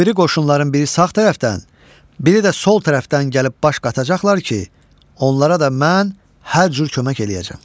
O biri qoşunların biri sağ tərəfdən, biri də sol tərəfdən gəlib baş qatacaqlar ki, onlara da mən hər cür kömək eləyəcəm.